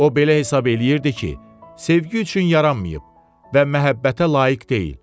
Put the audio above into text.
O belə hesab eləyirdi ki, sevgi üçün yaranmayıb və məhəbbətə layiq deyil.